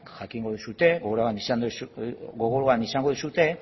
jakingo duzue gogoan izango duzue